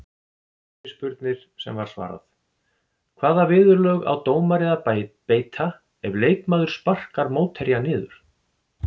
Fyrirspurnir sem var svarað: Hvaða viðurlög á dómari að beita ef leikmaður sparkar mótherja niður?